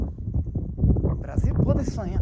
O Brasil pode sonhar.